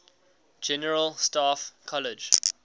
general staff college